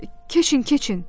Keçin, keçin!